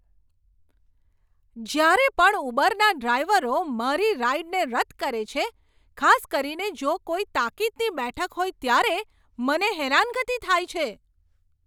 જ્યારે પણ ઉબરના ડ્રાઇવરો મારી રાઇડને રદ કરે છે, ખાસ કરીને જો કોઈ તાકીદની બેઠક હોય ત્યારે, મને હેરાનગતિ થાય છે.